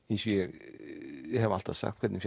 eins og ég hef alltaf sagt hvernig